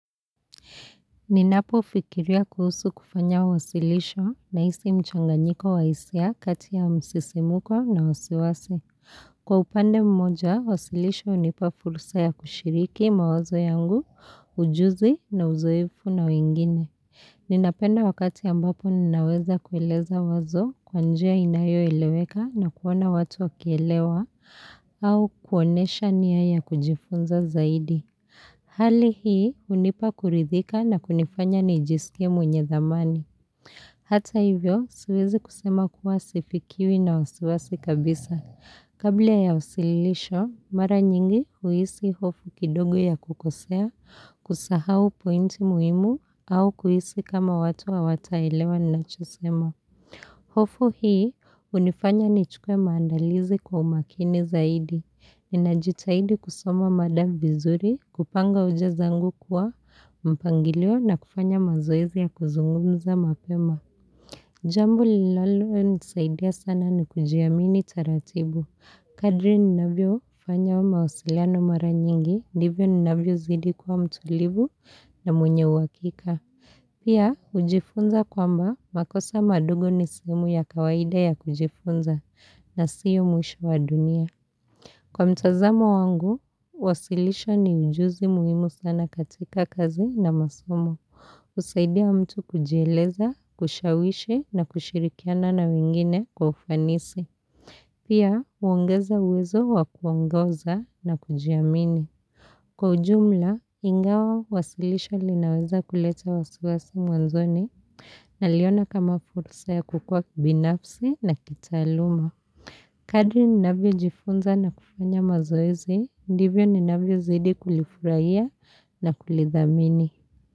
Ninapo fikiria kuhusu kufanya wasilisho naisi mchanganyiko wa hisia kati ya msisimuko na wasiwasi. Kwa upande mmoja, wasilisho unipa furusa ya kushiriki mawazo yangu, ujuzi na uzoefu na wengine. Ninapenda wakati ambapo ninaweza kueleza wazo kwa njia inayo eleweka na kuona watu wakielewa au kuonesha nia ya kujifunza zaidi. Hali hii unipa kuridhika na kunifanya nijisikie mwenye dhamani. Hata hivyo siwezi kusema kuwa sifikiwi na wasiwasi kabisa. Kabla ya usililisho, mara nyingi huisi hofu kidogo ya kukosea, kusahau pointi muimu au kuhisi kama watu hawataelewa ninachosema. Hofu hii, hunifanya nichukue maandalizi kwa umakini zaidi. Inajitahidi kusoma mada vizuri kupanga hoja zangu kuwa mpangilio na kufanya mazoezi ya kuzungumza mapema. Jambu linalonisaidia sana ni kujiamini taratibu. Kadri ninavyo fanya wa mawasiliano mara nyingi, ndivyo ninavyo zidi kwa mtulivu na mwenye uhakika. Pia, hujifunza kwamba makosa madogo ni sehemu ya kawaida ya kujifunza na siyo mwisho wa dunia. Kwa mtazamo wangu, wasilisho ni ujuzi muhimu sana katika kazi na masomo. hUsaidia mtu kujieleza, kushawishi na kushirikiana na wengine kwa ufanisi. Pia, huongeza uwezo wa kuongoza na kujiamini. Kwa ujumla, ingawa wasilisho linaweza kuleta wasiwasi mwanzoni naliona kama fursa ya kukua kibinafsi na kitaaluma. Kadri ninavo jifunza na kufanya mazoezi, ndivyo ninavyo zidi kulifurahia na kulidhamini.